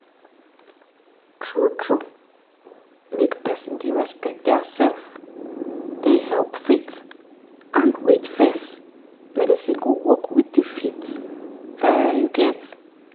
true true make people dey respect theirself dey help faith and wait fess medicine go work with the faith um